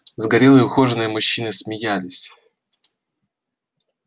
загорелые ухоженные мужчины смеялись